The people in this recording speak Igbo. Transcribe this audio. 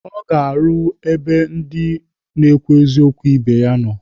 Ọ ga-arụ ebe ndị na-ekwu eziokwu ibe ya nọ.